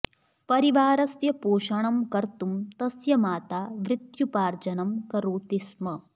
परिवारस्य पोषणं कर्तुं तस्य माता वृत्त्युपार्जनं करोति स्म